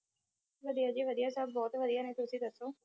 ਵਧੀਆ ਜੀ ਵਧੀਆ ਸਭ ਬਹੁਤ ਵਧੀਆ ਹੈ ਤੁਸੀਂ ਦੱਸੋ,